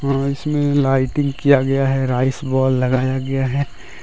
इसमें लाइटिंग किया गया है राइस बॉल लगाया गया है